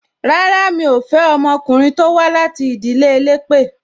Rárá, mi ò fẹ́ ọmọkùnrin tó wá láti ìdílé elépè